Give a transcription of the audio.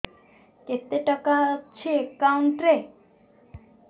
କେତେ ଟଙ୍କା ଅଛି ଏକାଉଣ୍ଟ୍ ରେ